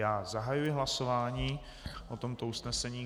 Já zahajuji hlasování o tomto usnesení.